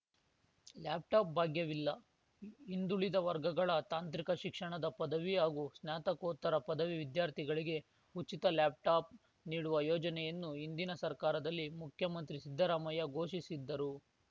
laptop ಭಾಗ್ಯವಿಲ್ಲ ಹಿಂದುಳಿದ ವರ್ಗಗಳ ತಾಂತ್ರಿಕ ಶಿಕ್ಷಣದ ಪದವಿ ಹಾಗೂ ಸ್ನಾತಕೋತ್ತರ ಪದವಿ ವಿದ್ಯಾರ್ಥಿಗಳಿಗೆ ಉಚಿತ ಲ್ಯಾಪ್‌ಟಾಪ್‌ ನೀಡುವ ಯೋಜನೆಯನ್ನು ಹಿಂದಿನ ಸರ್ಕಾರದಲ್ಲಿ ಮುಖ್ಯಮಂತ್ರಿ ಸಿದ್ದರಾಮಯ್ಯ ಘೋಷಿಸಿದ್ದರು